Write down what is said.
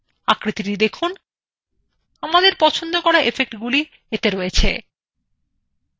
আকৃতিthe দেখুন আমাদের পছন্দ করা effectsগুলি এতে রয়েছে